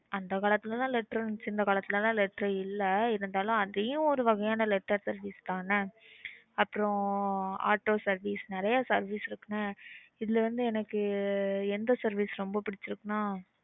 அந்த காலத்துல தான் letter இருந்துச்சு. இந்த காலத்துல லாம் letter இல்ல இருந்தாலும் அதுவும் ஒரு வகையான letter service தான அப்புறம் auto service ன்னு நறைய service இருக்கு என்ன இதுல எந்த service ரொம்ப பிடிச்சுருக்குன்னா.